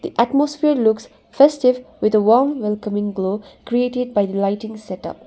atmosphere looks festive with a warm welcoming glow created by the lighting setup.